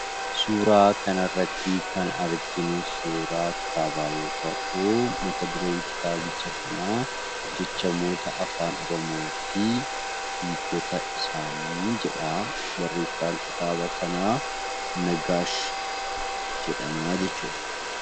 Suuraa kanarratti kan arginu suuraa kitaabaa yoo ta'u, mat-dureen kitaabicha kanaa "Jechamoota afaan oromoo fi hiikkota isaanii" jedha. Barreessaan kitaaba kanaa Nagaash jedhamaa jechuudha.